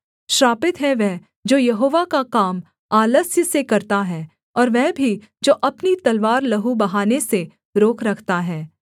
श्रापित है वह जो यहोवा का काम आलस्य से करता है और वह भी जो अपनी तलवार लहू बहाने से रोक रखता है